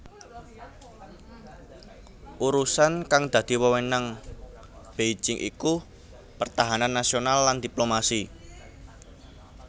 Urusan kang dadi wewenang Beijing iku pertahanan nasional lan diplomasi